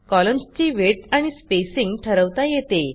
कॉलम्सची width आणि spacing ठरवता येते